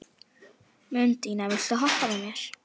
Mundína, viltu hoppa með mér?